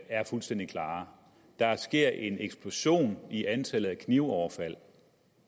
er fuldstændig klare der sker en eksplosion i antallet af knivoverfald og